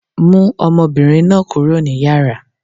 Mú ọmọbìnrin náà kúrò ní Yàrá.!